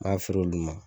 N'a feere olu ma